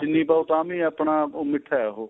ਚਿੰਨੀ ਪਾਉ ਤਾਂ ਵੀ ਆਪਣਾ ਮਿੱਠਾ ਉਹ